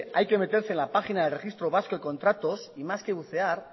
hay que meterse en la página del registro vasco de contratos y más que bucear